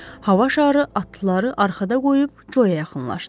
Hava şarı atlıları arxada qoyub Coya yaxınlaşdı.